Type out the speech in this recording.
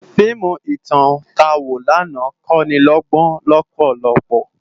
Fiimú itán tá wó làná kónilógbón lòpòlòpò